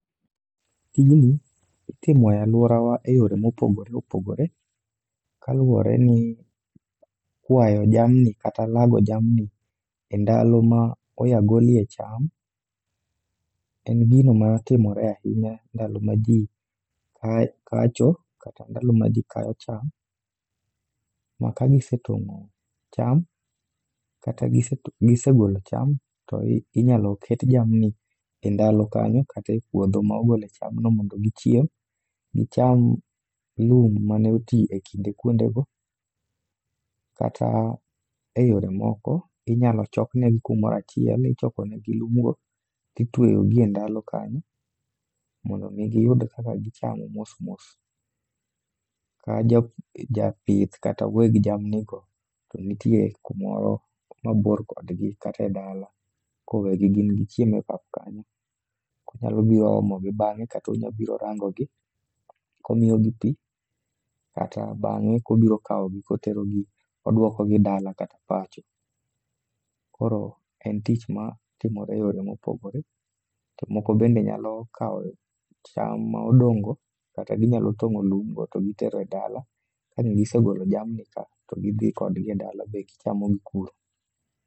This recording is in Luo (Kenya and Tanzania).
Tijni itimo e alworawa e yoro mopogore opogore kaluwore ni kwayo jamni kata lago jamni e ndalo ma oya golie cham, en gino matimore ahinya ndalo ma ji a kacho kata ndalo ma ji kayo cham. Ma ka gisetong'o cham kata giset gisegolo cham, to inyalo ket jamni e ndalo kanyo kate puodho ma ogole chamno mondo gichiem. Gicham lum mane oti e kinde kuonde go. Kata e yore moko, inyalo chokne gi kumoro achiel, ichoko negi lum go titweyogi e ndalo kanyo mondo giyud kaka gichamo mos mos. Ka japith kata weg jamni go ni to nitie kumoro mabor kodgi katedala. Koro egi gin gichiem e pap kanyo, konyalo biro omogi bang'e katonyalo biro rango gi komiyogi pi. Kata bang'e kobiro kawogi koterogi kodwokogi dala kata pacho. Koro en tich ma timore e yore mopogore, to moko bende nyalo kawo cham ma odong' go. Kata ginyalo tong'o lum go to gitero e dala ka ang' gisegolo jamni ka to gidhi kodgi e dala be gichamogi kuro.